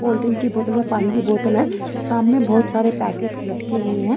Cold drink की बोतल और पानी की बोतल है सामने बहुत सारे पैकेट्स लटके हुए हैं।